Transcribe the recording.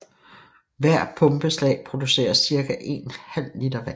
Hvert pumpeslag producerer cirka en halv liter vand